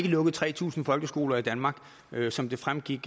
lukket tre tusind folkeskoler i danmark sådan som det fremgik